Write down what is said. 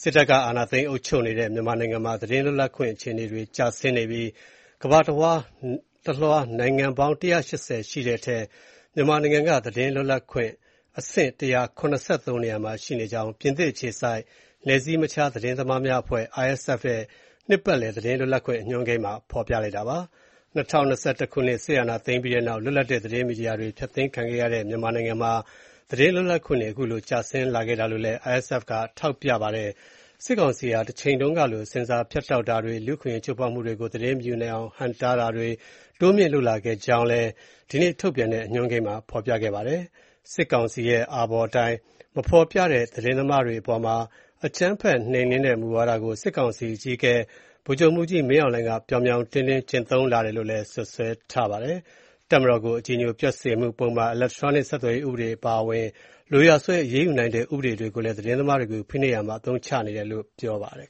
စစ်တပ်က အာဏာသိမ်း အုပ်ချုပ်နေတဲ့ မြန်မာနိုင်ငံမှာ သတင်းလွတ်လပ်ခွင့် အခြေအနေတွေ ကျဆင်းနေပြီး ကမ္ဘာတလွှား နိုင်ငံပေါင်း ၁၈၀ အနက် သတင်းလွတ်လပ်ခွင့် အဆင့် ၁၇၃ နေရာမှာ ရှိနေကြောင်း ပြင်သစ်အခြေစိုက် နယ်စည်းမခြား သတင်းသမားများအဖွဲ့ (RSF) ရဲ့ နှစ်ပတ်လည် သတင်းလွတ်လပ်ခွင့် အညွှန်းကိန်းမှာ ဖော်ပြပါတယ်။ ၂၀၂၁ ခုနှစ် စစ်အာဏာသိမ်းပြီးနောက် လွတ်လပ်တဲ့ သတင်းမီဒီယာတွေ ဖျက်သိမ်းခံခဲ့ရတဲ့ မြန်မာနိုင်ငံမှာ သတင်းလွတ်လပ်ခွင့်တွေ ကျဆင်းလာခဲ့တာလို့လည်း ပြောပါတယ်။ စစ်ကောင်စီဟာ တချိန်တုန်းကလို ဆင်ဆာဖြတ်တောက်တာတွေ၊ လူ့အခွင့်အရေး ချိုးဖောက်မှုတွေကို သတင်းမယူနိုင်အောင် ဟန့်တားတာတွေ တိုးမြှင့်လုပ်လာခဲ့ကြောင်းလည်း ဗုဒ္ဓဟူးနေ့က ထုတ်ပြန်တဲ့ အညွှန်းကိန်းမှာ ဖော်ပြခဲ့တာပါ။ စစ်ကောင်စီရဲ့ အာဘော်အတိုင်း မဖော်ပြတဲ့ သတင်းသမားတွေ အပေါ်မှာ အကြမ်းဖက်နှိမ်နင်းတဲ့ မူဝါဒကို စစ်ကောင်စီ အကြီးအကဲ ဗိုလ်ချုပ်မှူးကြီး မင်းအောင်လှိုင် က ပြောင်ပြောင်တင်းတင်း ကျင့်သုံးလာတယ်လို့လည်း စွပ်စွဲထားပါတယ်။ တပ်မတော်ကို အကြည်ညိုပျက်စေမှုပုဒ်မ၊ အီလက်ထရောနစ် ဆက်သွယ်ရေးဥပဒေတွေ အပါအဝင် လိုရာဆွဲ အရေးယူနိုင်တဲ့ ဥပဒေတွေကိုလည်း သတင်းသမားတွေကို ဖိနှိပ်ရာမှာ အသုံးချနေတယ်လို့ ပြောပါတယ်